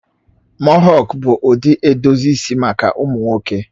Mohọk bụ ụdị edozi isi maka ụmụ nwoke